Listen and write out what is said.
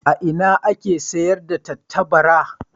A ina ake sayar da tattabara?